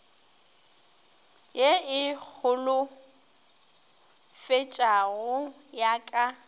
ye e holofetšago ya ka